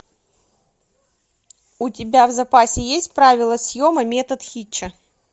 у тебя в запасе есть правила съема метод хитча